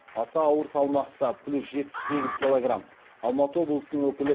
аса ауыр салмақта алматы облысының өкілі